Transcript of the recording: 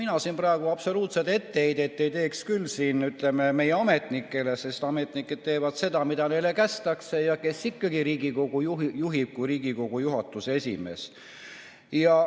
Mina siin praegu absoluutselt ei teeks etteheiteid meie ametnikele, sest ametnikud teevad seda, mida kästakse, ja kes ikka Riigikogu juhib kui mitte Riigikogu juhatuse esimees.